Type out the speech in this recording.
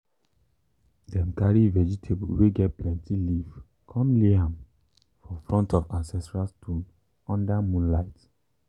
before rain start we go sweep shrine um shrine um well and um bring yam come um give the ancestors.